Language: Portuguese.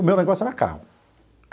O meu negócio era carro.